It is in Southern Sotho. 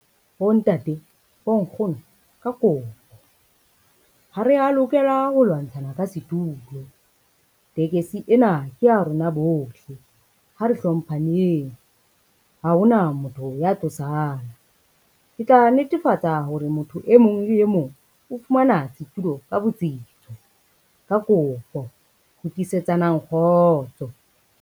Bontate, bonkgono, ka kopo. Ha re a lokela ho lwantshana ka setulo, tekesi ena ke ya rona bohle ha re hlomphaneng. Ha hona motho ya tlo sala, ke tla netefatsa hore motho e mong le e mong o fumana setulo ka botsitso, ka kopo fitisetsanang kgotso.